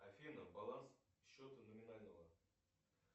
афина баланс счета номинального